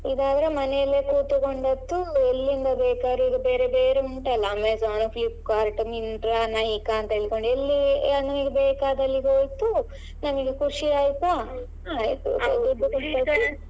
ಇದ್ ಆದ್ರೆ ಮನೆಯಲ್ಲೇ ಕೂತ್ಕೊಂಡದ್ದು ಎಲ್ಲಿಂದ ಬೇಕಾದ್ರೂ ಈಗ ಬೇರೆ ಬೇರೆ ಉಂಟಲ್ಲ Amazon, Flipkart, Myntra, Nykaa ಅಂತೇಳ್ಕೊಂಡು ಎಲ್ಲಿ ಬೇಕಾದಲ್ಲಿ ಹೋಯ್ತು ನಮಿಗೆ ಖುಷಿ ಆಯ್ತಾ .